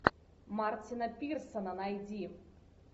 мартина пирсона найди